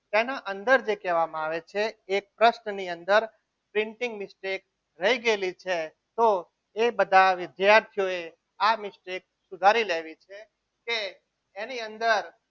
તેના અંદર જે કહેવામાં આવે છે એ કષ્ટની અંદર printing mistake રહી ગયેલી છે તો એ બધા વિદ્યાર્થીઓએ આ mistake સુધારી લેવી કે એની અંદર